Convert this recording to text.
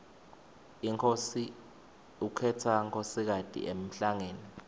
inkhosi ukhetsa nkosikati emhlangeni